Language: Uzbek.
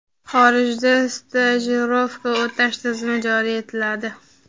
xorijda stajirovka o‘tash tizimi joriy etiladi.